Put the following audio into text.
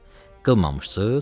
Hə, qılmamısınız.